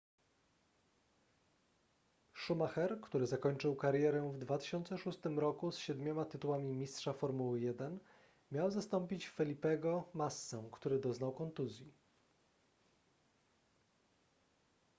schumacher który zakończył karierę w 2006 roku z siedmioma tytułami mistrza formuły 1 miał zastąpić felipego massę który doznał kontuzji